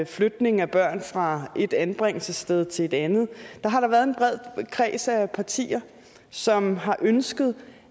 flytning af børn fra et anbringelsessted til et andet har der været en bred kreds af partier som har ønsket